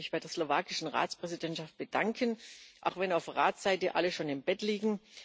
Ich möchte mich bei der slowakischen Ratspräsidentschaft bedanken auch wenn auf Ratsseite alle schon im Bett liegen.